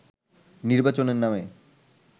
নির্বাচনের নামে